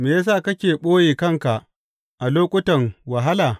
Me ya sa kake ɓoye kanka a lokutan wahala?